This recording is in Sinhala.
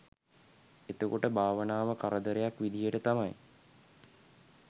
එතකොට භාවනාව කරදරයක් විදියට තමයි